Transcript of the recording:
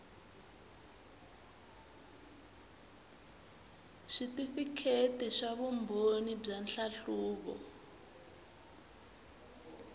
switifikheti swa vumbhoni bya nhlahluvo